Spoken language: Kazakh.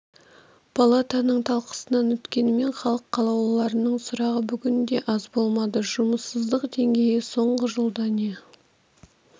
палатаның талқысынан өткенімен халық қалаулыларының сұрағы бүгін де аз болмады жұмыссыздық деңгейі соңғы жылда не